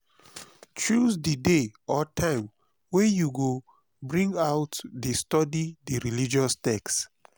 choose di day or time wey you go bring out de study di religious text